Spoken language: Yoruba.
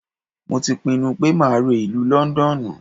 Mo ti pinnu pé máa re ìlú Lọ́ńdọ́ọ̀nù.